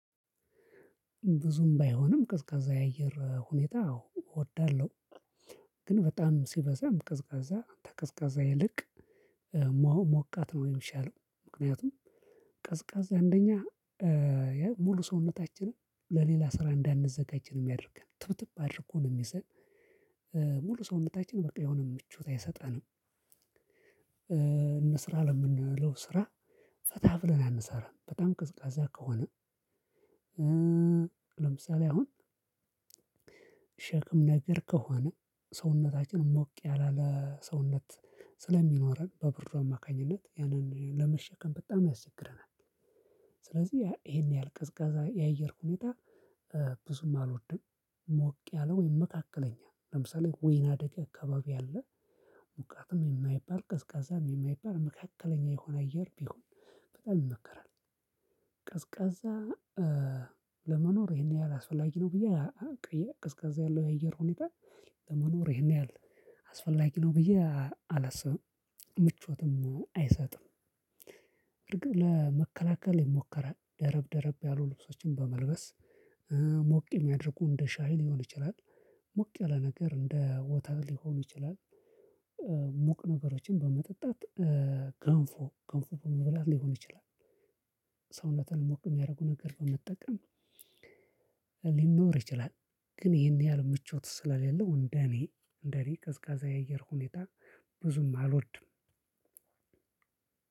ብዙም ባይሆንም ቀዝቃዜ የአየር ሁኔታ አዎ እወዳለሁ ግን በጣም ሲበዛም ቀዝቃዛ ከቀዝቃዛ ይልቅ ሙ ሞቃት ነው የምሻለው። ምክንያቱም ቀ ቀዝቃዛ እንደኛ ሙሉ ሰውነታችንን ለሌላ ስራ እንዳንዘጋጅ ነው የሚያደርገን ትብትብ አድርጎ ነው የሚይዘን። ሙሉ ሰውነታችን በቃ የሆነ ምቾት አይሰጠንም። እንስራ ለምንለው ስራ ፈታብለን አንሰራም በጣም ቅዝቃዜ ከሆነ። ለምሳሌ አሁን ሸክም ነገር ከሆነ ሰውነታችን ሞቅ ያላለ ሰውነት ስለሚኖረን በብርዱ አማካኝነት ያንን ለመሸከም በጣም ያስቸግረናል። ስለዚህ ያ ይሄን ያህል ቀዝቃዛ የአየር ሁኔታ ብዙም አልወድም። ሞቅ ያለ ወይም መካከለኛ ለምሳሌ ወይነደገ አካባቢ ያለ ሞቃትም የማይባል ቀዝቃዛም የማይባል መካከለኛ የሆነ አየር ቢሆን በጣም ይመከራል። ቀዝቃዛ ለመኖር ይሄን ያህል አስፈላጊ ነው ብዬ ቅዬ ቀዝቃዜ ያለው የአየር ሁኔታ ለመኖር ይሄን ያህል አስፈላጊ ነው ብዬ አላስብም። ምቾትም አይሰጥም። እርግጥ ለመከላከል የሞከራል ደረብ ደረብ ያሉ ልብሶችን በመልበስ ሙ ሞቅ የሚያድርቁ እንደ ሻይ ሊሆን ይችላል። ሞቅ ያለ ነገር እንደ ወተት ሊሆን ይችላል። ሙቅ ነገሮችን በመጠጣት ገንፎ ገንፎ በመብላት ሊሆን ይችላል። ሰውነትን ሞቅ የሚያደርጉ ነገር በመጠቀም ሊኖር ይችላል። ግን ይሄን ያህል ምቾት ስለሌለው እንደኔ እንደኔ ቀዝቃዛ የአየር ሁኔታ ብዙም አልወድም።